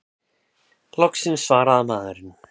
Loksins svarar maðurinn!